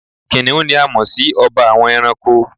Kìnìún ni a mọ̀ si ọba àwọn ẹranko